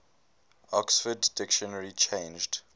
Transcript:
oxford dictionary changed